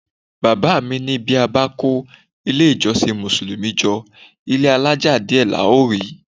Bàbá mi ní tí a bá kó ilé-ìjọsìn Mùsùlùmí jọ, ilé-alaja díẹ̀ la ó rí.